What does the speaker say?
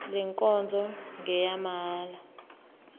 le nkonzo ngeyamahala